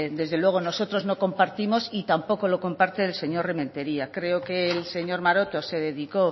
desde luego nosotros no compartidos y tampoco lo comparte el señor rementeria creo que el señor maroto se dedicó